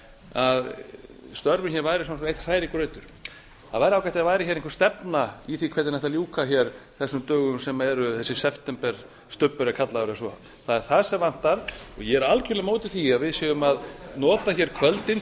að störfin hér væru einn hrærigrautur það væri ágætt ef það væri hér einhver stefna í því hvernig ætti að ljúka hér þessum dögum sem eru þessi septemberstubbur er kallaður er svo það er það sem vantar og ég er algjörlega á móti því að við séum að nota hér kvöldin